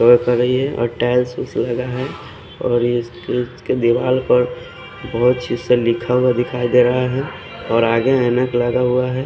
और करई ये और टाइल्स लगा है और चीज के दीवाल पर बोहोत सीसे लिखा हुआ दिखाई दे रहा है और आगे ऐनक लगा हुआ है।